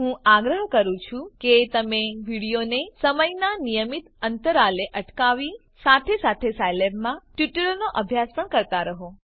હું આગ્રહ કરું છું કે તમે વિડીઓને સમયનાં નિયમિત અંતરાલે અટકાવી સાથે સાથે સાયલેબમાં આ ટ્યુટોરીયલનો અભ્યાસ પણ કરતા રહો